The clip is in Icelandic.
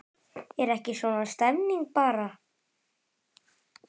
Er ekki svona stemning bara?